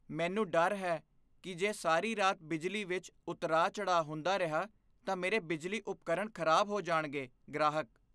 ਮੈਨੂੰ ਡਰ ਹੈ ਕੀ ਜੇ ਸਾਰੀ ਰਾਤ ਬਿਜਲੀ ਵਿੱਚ ਉਤਰਾਅ ਚੜ੍ਹਾਅ ਹੁੰਦਾ ਰਿਹਾ ਤਾਂ ਮੇਰੇ ਬਿਜਲੀ ਉਪਕਰਨ ਖ਼ਰਾਬ ਹੋ ਜਾਣਗੇ ਗ੍ਰਾਹਕ